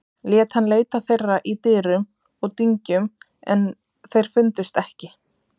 Lét hann leita þeirra í dyrum og dyngjum en þeir fundust ekki.